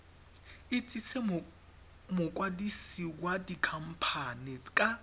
itsise mokwadise wa dikhamphane ka